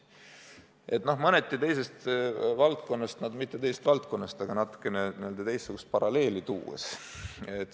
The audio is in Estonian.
Toon teile paralleeli mõneti teisest valdkonnast või õigemini mitte teisest valdkonnast, lihtsalt natukene teistsuguse paralleeli.